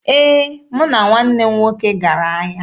Ee, mụ na nwanne m nwoke gara ahịa.